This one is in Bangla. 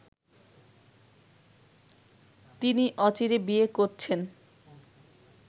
তিনি অচিরে বিয়ে করছেন